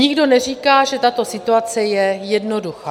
Nikdo neříká, že tato situace je jednoduchá.